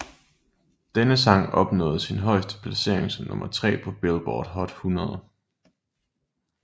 Denne sang opnåede sin højeste placering som nummer tre på Billboard Hot 100